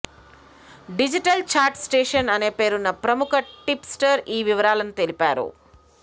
digital chat station అనే పేరున్న ప్రముఖ టిప్ స్టర్ ఈ వివరాలను తెలిపారు